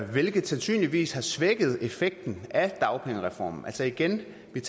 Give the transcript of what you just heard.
hvilket sandsynligvis har svækket effekten af dagpengereformen altså igen vil